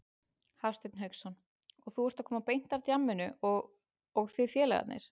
Hafsteinn Hauksson: Og þú ert að koma beint af djamminu og, og þið félagarnir?